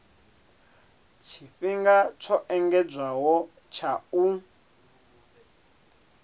tshifhinga tsho engedzedzwaho tsha u